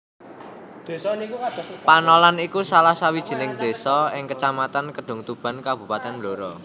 Panolan iku salah sawijining désa ing Kecamatan Kedungtuban Kabupatèn Blora